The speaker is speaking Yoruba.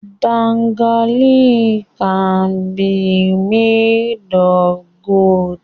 Bangles can be made of gold